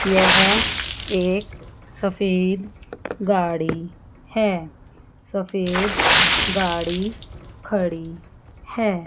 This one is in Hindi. यह एक सफेद गाड़ी है। सफेद गाड़ी खड़ी है।